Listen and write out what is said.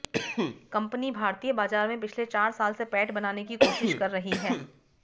company भारतीय बाजार में पिछले चार साल से पैठ बनाने की कोशिश कर रही है